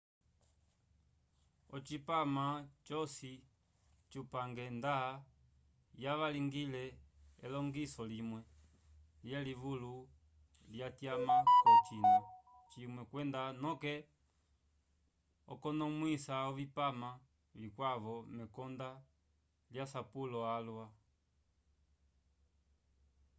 ocipama cosi cupange nda yavangwile elongiso limwe lyelivulu lyatyama k'ocina cimwe kwenda noke okukonomwisa ovipama vikwavo mekonde lyasapulo alwa